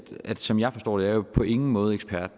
at som jeg forstår det er på ingen måde ekspert